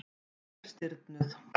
Hún er stirðnuð.